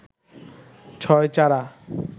ছয় চারা